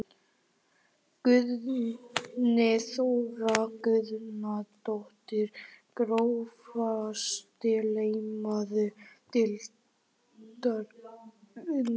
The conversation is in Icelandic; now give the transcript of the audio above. Guðný Þóra Guðnadóttir Grófasti leikmaður deildarinnar?